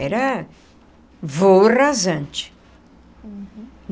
Era voo rasante.